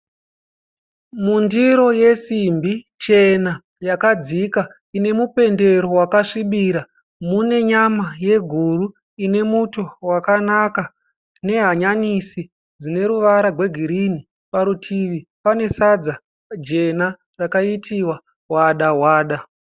Mundiro yesimbi chena yakadzika ine mupendero wakasvibira. Mune nyama yeguru ine muto wakanaka nehanyanisi dzine ruvara gwegirini. Parutivi pane sadza jena rakaitiwa wada wada.